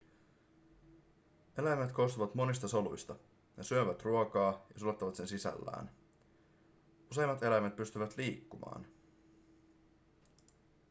eläimet koostuvat monista soluista ne syövät ruokaa ja sulattavat sen sisällään useimmat eläimet pystyvät liikkumaan